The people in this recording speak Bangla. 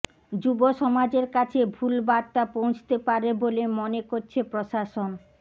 যুব সমাজের কাছে ভুল বার্তা পৌঁছতে পারে বলে মনে করছে প্রশাসন